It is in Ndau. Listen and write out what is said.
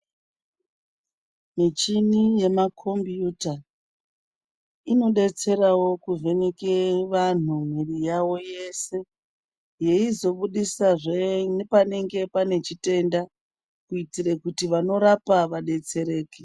Michini yemakombiyuta inodetserawo kuvheneke vanhu mwiiri yawo yese yeizobudisazve nepanenge pane chitenda kuitira kuti vanorapa vadetsereke.